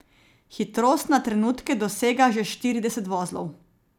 Hitrost na trenutke dosega že štirideset vozlov.